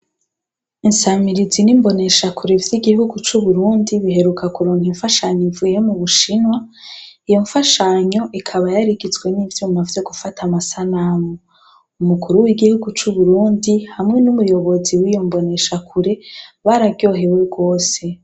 Insamirizi n’imboneshakure vy’ihihugu c’Uburundi biheruka kuronka infashanyo ivuye mubushinwa, iyo nfashanyo ikaba yarigizwe n’ivyuma vyo gufata amasanamu . Umukuru w’igihugu c’Uburundi hamwe n’umuyobozi wiyo mboneshakure bararyohewe gose.